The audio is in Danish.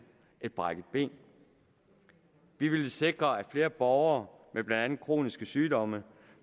et brækket ben vi ville sikre at flere borgere med blandt andet kroniske sygdomme